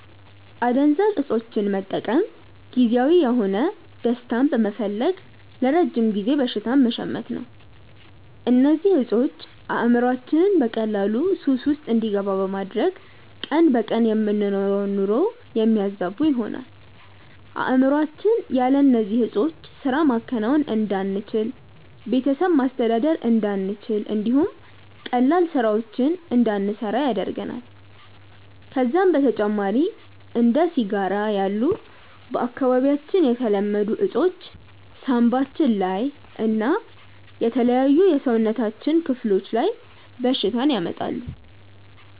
አደንዛዥ እፆችን መጠቀም ጊዜያዊ የሆነ ደስታን በመፈለግ ለረጅም ጊዜ በሽታን መሸመት ነው። እነዚህ እፆች አእምሮአችንን በቀላሉ ሱስ ውስጥ እንዲገባ በማድረግ ቀን በቀን የምንኖረውን ኑሮ የሚያዛቡ ይሆናሉ። አእምሮአችን ያለ እነዚህ ዕጾች ስራ ማከናወን እንዳንችል፣ ቤተሰብ ማስተዳደር እንዳንችል እንዲሁም ቀላል ስራዎችን እንዳንሰራ ያደርገናል። ከዛም በተጨማሪ እንደ ሲጋራ ያሉ በአካባቢያችን የተለመዱ እፆች ሳንባችን ላይ እና የተለያዩ የሰውነታችን ክፍሎች ላይ በሽታን ያመጣሉ።